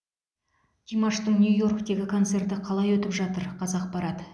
димаштың нью йорктегі концерті қалай өтіп жатыр қазақпарат